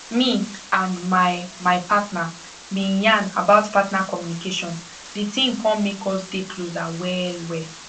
me and my my partner been yan about partner communication the thing come make us dey closer well well